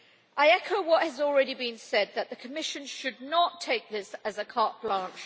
I echo what has already been said, that the Commission should not take this as a carte blanche.